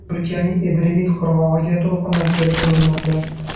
Turkiyaning Edremit qirg‘og‘iga to‘lqinlar kelib urilmoqda.